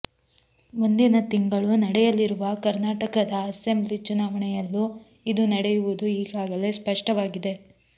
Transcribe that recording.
ಮುಂದಿನ ತಿಂಗಳು ನಡೆಯಲಿರುವ ಕರ್ನಾಟಕದ ಅಸೆಂಬ್ಲಿ ಚುನಾವಣೆಯಲ್ಲೂ ಇದು ನಡೆಯುವುದು ಈಗಾಗಲೇ ಸ್ಪಷ್ಟವಾಗಿದೆ